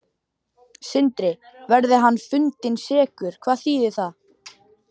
Sindri: Verði hann fundinn sekur, hvað þýðir það?